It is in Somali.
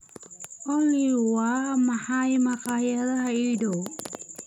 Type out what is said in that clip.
olly waa maxay makhaayadaha ii dhow?